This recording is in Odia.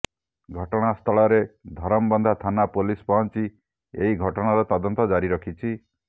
ଘଟଣାସ୍ଥଳରେ ଧରମବନ୍ଧା ଥାନା ପୋଲିସ୍ ପହଞ୍ଚି ଏହି ଘଟଣାର ତଦନ୍ତ ଜାରି ରଖିଛି